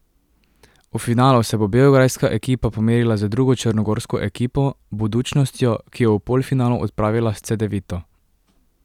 V finalu se bo beograjska ekipa pomerila z drugo črnogorsko ekipo, Budućnostjo, ki je v polfinalu odpravila s Cedevito.